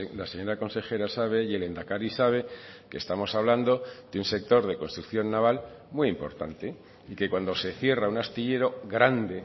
la señora consejera sabe y el lehendakari sabe que estamos hablando de un sector de construcción naval muy importante y que cuando se cierra un astillero grande